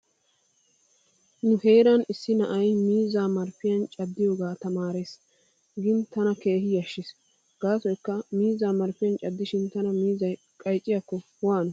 Nu heeran issi na'ay miizzaa marppiyan caddiyoga tamaarees giin tana keehin yashshiis. Gaasoykka miizzaa marppiyan caddishin tana miizzay qaycikko waano?